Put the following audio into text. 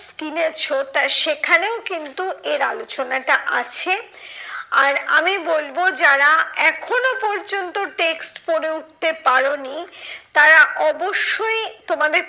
কিনেছো তা সেখানেও কিন্তু এর আলোচনাটা আছে। আর আমি বলবো যারা, এখনো পর্যন্ত text পরে উঠতে পারোনি তারা অবশ্যই তোমাদের